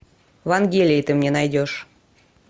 вангелия ты мне найдешь